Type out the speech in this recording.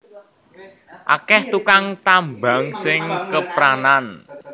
Akeh tukang tambang sing kepranan